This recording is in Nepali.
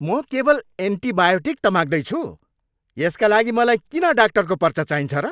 म केवल एन्टिबायोटिक त माग्दैछु! यसका लागि मलाई किन डाक्टरको पर्चा चाहिन्छ र?